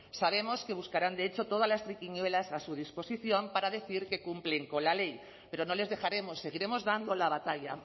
sabemos que buscarán de hecho todas las triquiñuelas a su disposición para decir que cumplen con la ley pero no les dejaremos seguiremos dando la batalla